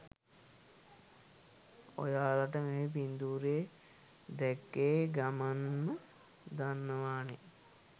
ඔයාලට මේ පින්තුරේ දැක්ක ගමන්ම දන්නවානේ